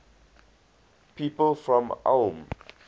people from ulm